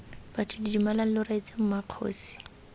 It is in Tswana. batho didimalang lo reetse mmakgosi